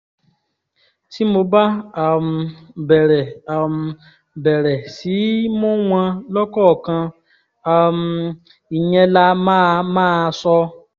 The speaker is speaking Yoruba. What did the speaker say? tí mo bá um bẹ̀rẹ̀ um bẹ̀rẹ̀ sí í mú wọn lọ́kọ̀ọ̀kan um ìyẹn lá máa máa sọ